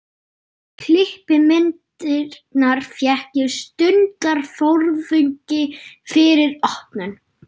Klippimyndirnar fékk ég stundarfjórðungi fyrir opnun.